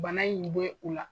Bana in be ula